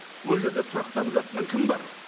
ол жерде тұрақтанып жатқан кім бар